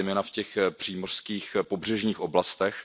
zejména v těch přímořských pobřežních oblastech.